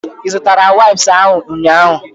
Ị zụtara waips ahụ ụnyaahụ?